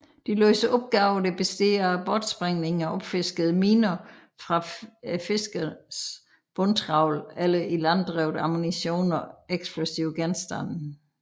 De løser opgaver der består af bortsprængning af opfiskede miner fra fiskernes bundtravl eller ilanddrevet ammunition og eksplosive genstande